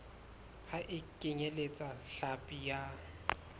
ha e kenyeletse hlapi ya